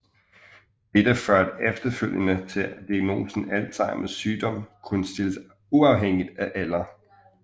Dette førte efterfølgende til at diagnosen Alzheimers sygdom kunne stilles uafhængigt af alder